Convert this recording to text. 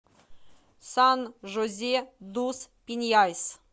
сан жозе дус пиньяйс